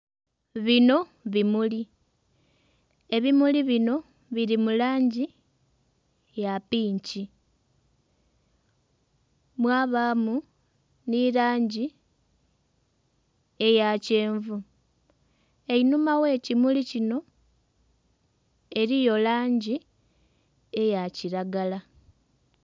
Bino bimuli, ebimuli bino biri mu langi ya pinki mwabamu n'erangi eya kyenvu einhuma ghe kimuli kino eriyo langi eya kiragala.